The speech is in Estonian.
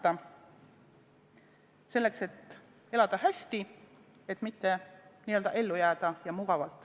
Ja seda selleks, et elada hästi, mitte et ellu jääda.